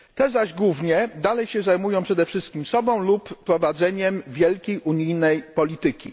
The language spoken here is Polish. Te zaś głównie zajmują się przede wszystkim sobą lub prowadzeniem wielkiej unijnej polityki.